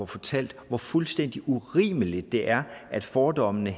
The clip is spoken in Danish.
fortalt hvor fuldstændig urimeligt det er at fordommene